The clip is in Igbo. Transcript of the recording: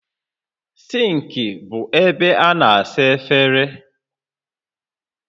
Sịnkị bụ ebe a na-asa efere